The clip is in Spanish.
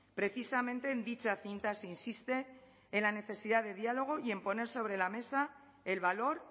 precisamente en dicha cinta se insiste en la necesidad de diálogo y en poner sobre la mesa el valor